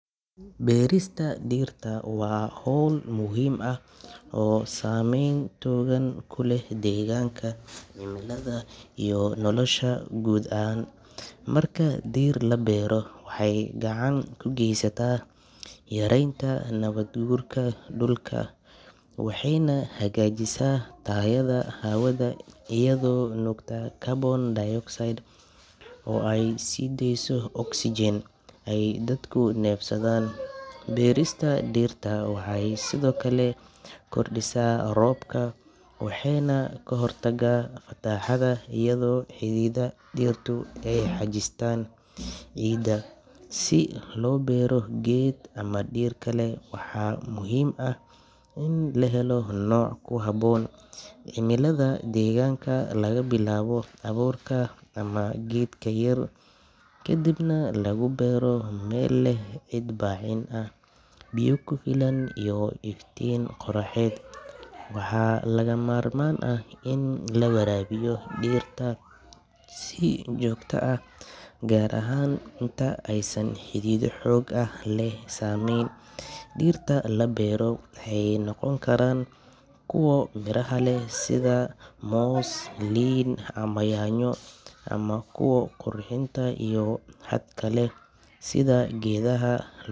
Beerista dhirta waa hawl muhiim ah oo saameyn togan ku leh deegaanka, cimilada, iyo nolosha guud ee aadanaha. Marka dhir la beero, waxay gacan ka geysataa yaraynta nabaad guurka dhulka, waxayna hagaajisaa tayada hawada iyadoo nuugta carbon dioxide oo ay sii deyso oxygen ay dadku neefsadaan. Beerista dhirta waxay sidoo kale kordhisaa roobka waxayna ka hortagtaa fatahaadaha iyadoo xididdada dhirtu ay xajistaan ciidda. Si loo beero geed ama dhir kale, waxaa muhiim ah in la helo nooc ku habboon cimilada deegaanka, laga bilaabo abuurka ama geedka yar, kadibna lagu beero meel leh ciid bacrin ah, biyo ku filan iyo iftiin qoraxeed. Waxaa lagama maarmaan ah in la waraabiyo dhirta si joogto ah, gaar ahaan inta aysan xididdo xoog leh samaysan. Dhirta la beero waxay noqon karaan kuwa miraha leh sida moos, liin ama yaanyo, ama kuwa qurxinta iyo hadhka leh sida geedaha.